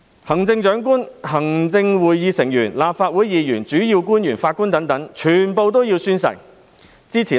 行政長官、行政會議成員、立法會議員、主要官員及法官等全部皆須宣誓。